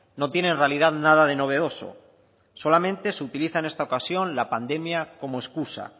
no tiene en realidad nada de novedoso solamente se utiliza en esta ocasión la pandemia como excusa